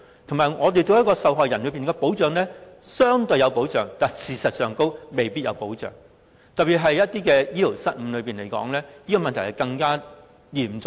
同時，我們對於受害人，看似相對上有保障，但事實並非如此，特別以醫療失誤來說，我認為這問題更為嚴重。